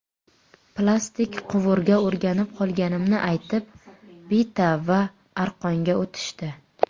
Plastik quvurga o‘rganib qolganimni aytib, bita va aqronga o‘tishdi.